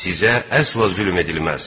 Sizə əsla zülm edilməz.